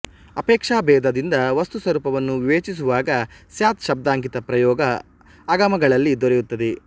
ಅಪೇಕ್ಷಾಭೇದದಿಂದ ವಸ್ತುಸ್ವರೂಪವನ್ನು ವಿವೇಚಿಸುವಾಗ ಸ್ಯಾತ್ ಶಬ್ದಾಂಕಿತ ಪ್ರಯೋಗ ಆಗಮಗಳಲ್ಲಿ ದೊರೆಯುತ್ತದೆ